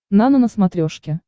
нано на смотрешке